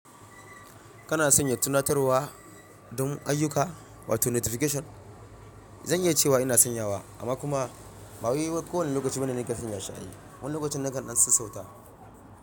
Kana sanya tunatarwa don ayyuka wato notification? Zan iya cewa ina sanyawa amma kuma ba wai kowane lokaci bane nike sanya shi ai. Wani lokacin nakan ɗan sassauta.